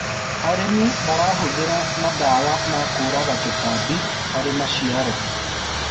arĩmi marahuthira mandawa ma kuuraga tũtambi harĩ maciaro